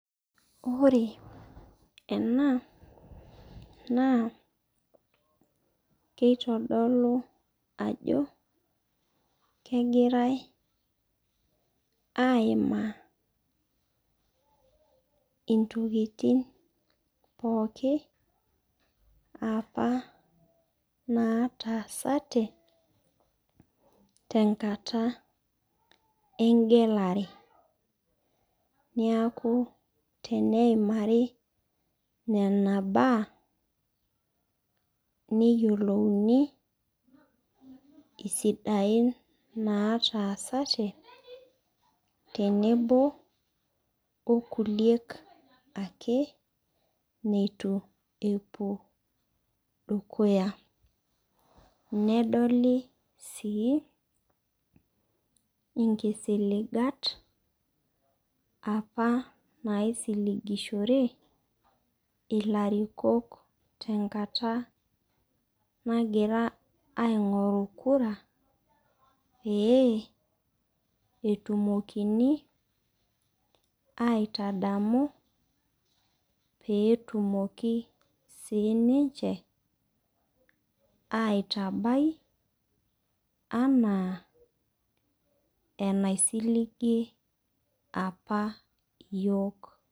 Ore ena naa keitodolu ajo kegirai aaimaa intokitin pooki apa naataasate tenkata engelare. Neaku teneimari nena baa neyiolouni isidain naataasate tenebo o kuliek ake neitu epuo dukuya. Nedoli sii inkisiligat apa naaisiligishore ilarikok tenkata nagira aing'oru kura pee etumokini aitadamu peetumoki sii ninche aitabai anaa enaisiligie apa iyiook.